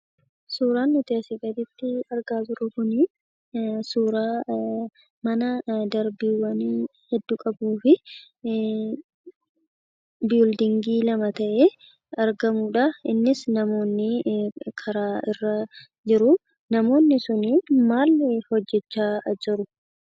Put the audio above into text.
Suuraan nuti asii gaditti argaa jirru kun suuraa manaa darbiiwwanii hedduu qabuu fi ijaarsaawwan lama ta'ee argamuudha. Innis namoonni karaa irra jiru. Namoonni sun maal hojjechaa jiru?